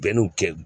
Bɛn n'u kɛ